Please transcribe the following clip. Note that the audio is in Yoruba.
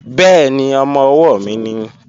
Bẹ́ẹ̀ni, ọmọ-ọwọ́ mi nìí